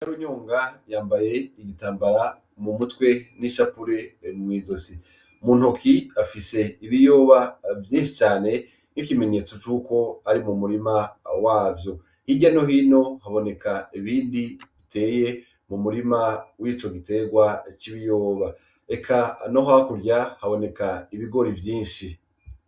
Runyonga yambaye igitambara mu mutwe n'ishapure mw'izosi, muntoki afise ibiyoba vyinshi cane n'ikimenyetso c'uko ari mu murima wavyo, hirya nohino haboneka ibindi biteye mu murima w'ico giterwa c'ibiyoba eka no hakurya haboneka ibigori vyinshi.